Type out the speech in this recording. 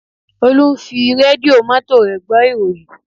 Olú ń fi rédíò mọ́tò rẹ̀ gbọ́ ìròyìn